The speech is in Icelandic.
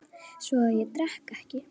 Svo að ég drekk ekki.